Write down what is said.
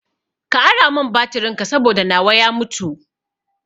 Ka ara mun batirin ka saboda nawa ya mutu